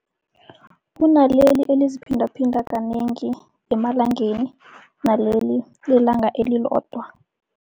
Kunaleli eliziphindaphinda kanengi emalangeni, naleli lelanga elilodwa.